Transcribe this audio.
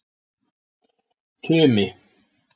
Tumi